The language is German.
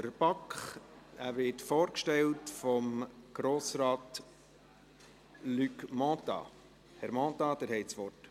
der BaK. Er wird von Grossrat Luc Mentha vorgestellt.